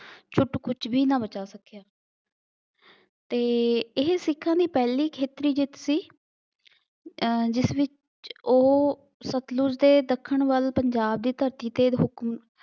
ਸੁੱਤ ਕੁੱਝ ਵੀ ਨਾ ਬਚਾ ਅਤੇ ਇਹ ਸਿੱਖਾਂ ਦੀ ਪਹਿਲੀ ਖੇਤਰੀ ਜਿੱਤ ਸੀ। ਅਹ ਜਿਸ ਵਿੱਚ ਉਹ ਸਤਲੁਜ ਦੇ ਦੱਖਣ ਵੱਲ ਪੰਜਾਬ ਦੀ ਧਰਤੀ ਤੇ